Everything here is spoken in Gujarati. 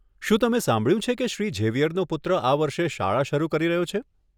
શું તમે સાંભળ્યું છે કે શ્રી ઝેવિયરનો પુત્ર આ વર્ષે શાળા શરૂ કરી રહ્યો છે?